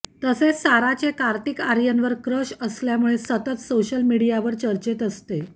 तसेच साराचे कार्तिक आर्यनवर क्रश असल्यामुळे सतत सोशल मीडियावर चर्चेत असते